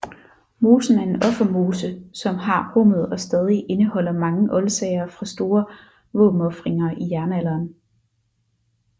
Mosen er en offermose som har rummet og stadig indeholder mange oldsager fra store våbenofringer i jernalderen